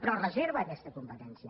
però es reserva aquesta competència